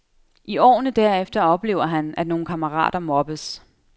I årene derefter oplever han, at nogle kammerater mobbes.